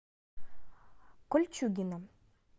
кольчугино